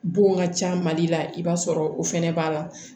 Bon ka ca mali la i b'a sɔrɔ o fɛnɛ b'a la